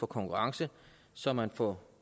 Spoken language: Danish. konkurrence så man får